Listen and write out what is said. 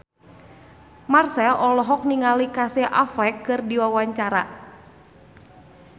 Marchell olohok ningali Casey Affleck keur diwawancara